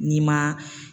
N'i ma